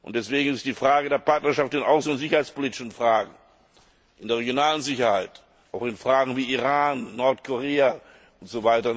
Deswegen ist die Frage der Partnerschaft in außen und sicherheitspolitischen Fragen, in der regionalen Sicherheit, auch in Fragen wie Iran, Nordkorea usw.